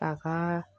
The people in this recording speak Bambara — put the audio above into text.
A ka